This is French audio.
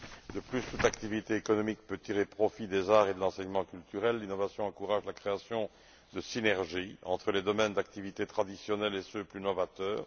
De plus, toute activité économique peut tirer profit des arts et de l'enseignement culturel, l'innovation encourage la création de synergies entre les domaines d'activité traditionnels et ceux plus novateurs.